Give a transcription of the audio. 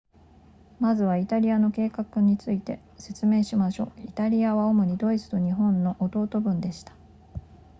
まずはイタリアの計画について説明しましょうイタリアは主にドイツと日本の弟分でした